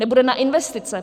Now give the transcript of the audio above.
Nebude na investice.